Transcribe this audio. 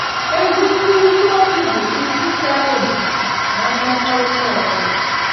Ezi nkwurịta okwu bụ isi sekpụ ntị ná mmekọrịta ọ bụla.